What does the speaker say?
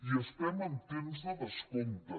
i estem en temps de descompte